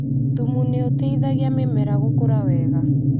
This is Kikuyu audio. Thumu nĩũteithagia mĩmera gũkũra wega